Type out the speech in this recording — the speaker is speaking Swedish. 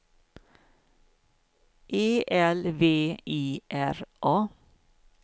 E L V I R A